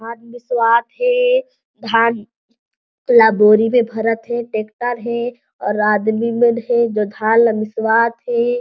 धान मिसवाथे धान थोड़ा बोरी में भरथ हे ट्रेक्टर हे और आदमी मन हे जो धान ला मिसवाथे --